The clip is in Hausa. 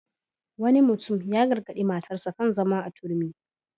Wani mutum ya gargaɗi matarsa kan zama a turmi.